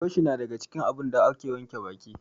Buroshi na daga cikin abubuwan da ake wanke banɗaki.